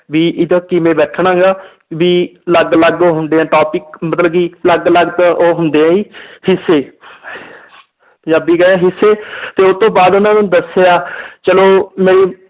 ਵੀ ਉਦੋਂ ਕਿਵੇਂ ਬੈਠਣਾ ਗਾ ਵੀ ਅਲੱਗ ਅਲੱਗ ਹੁੰਦੇ ਹੈ topic ਮਤਲਬ ਕਿ ਅਲੱਗ ਅਲੱਗ ਉਹ ਹੁੰਦੇ ਹੈ ਜੀ ਹਿੱਸੇ ਪੰਜਾਬੀ ਹਿੱਸੇ ਤੇ ਉਹ ਤੋਂ ਬਾਅਦ ਉਹਨਾਂ ਨੇ ਦੱਸਿਆ ਚਲੋ ਮੇਰੀ